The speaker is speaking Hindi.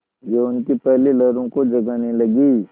यौवन की पहली लहरों को जगाने लगी